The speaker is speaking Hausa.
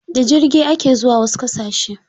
Da jirgi ake zuwa wasu ƙasashe.